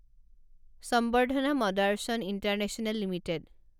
সম্বৰ্ধনা মদাৰচন international limited